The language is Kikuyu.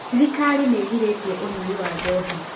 Thirikari nĩ ĩgirĩtie ũnyui wa njohi.